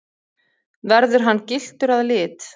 Verður hann gylltur að lit